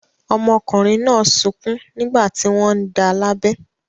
Ọmọkùnrin náà sunkún nígbà tí wọ́n ń da lábẹ.